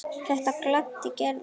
Þetta gladdi Gerði.